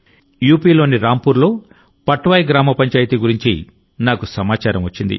యూపీలోని రాంపూర్ లో పట్వాయి గ్రామ పంచాయతీ గురించి నాకు సమాచారం వచ్చింది